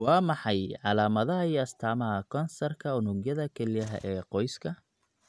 Waa maxay calaamadaha iyo astaamaha kansarka unugyada kelyaha ee qoyska?